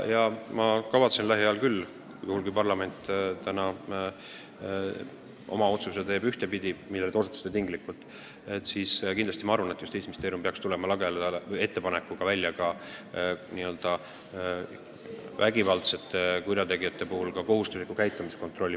Ma kavatsen lähiajal – muidugi juhul, kui parlament teeb täna otsuse, millele te osutasite –, saavutada, et Justiitsministeerium tuleb välja ettepanekuga rakendada vägivaldsete kurjategijate käitumise kohustuslik kontroll.